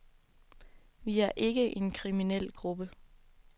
Vi er ikke en kriminel gruppe.